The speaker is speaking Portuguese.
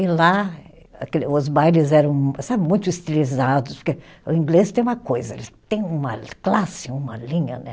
E lá aquele, os bailes eram sabe, muito estilizados, porque o inglês tem uma coisa, eles têm uma classe, uma linha, né.